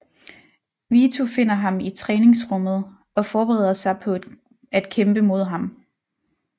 Vito finder ham i træningsrummet og forbereder sig på at kæmpe mod ham